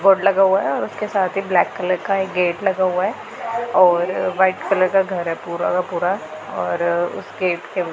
board लगा हुआ है और उसके साथ ही ब्लैक कलर का एक गेट लगा हुआ है और वाइट कलर का घर है पूरा का पूरा और उस गेट के--